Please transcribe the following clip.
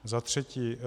Za třetí.